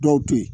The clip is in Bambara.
Dɔw to yi